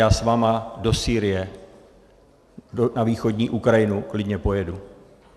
Já s vámi do Sýrie, na východní Ukrajinu, klidně pojedu.